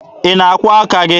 Ị na-akwụọ aka gị?